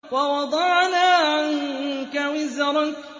وَوَضَعْنَا عَنكَ وِزْرَكَ